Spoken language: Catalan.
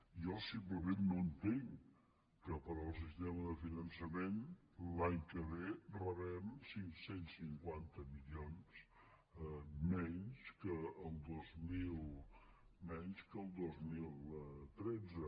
jo simplement no entenc que pel sistema de finançament l’any que ve rebem cinc cents i cinquanta milions menys que el dos mil tretze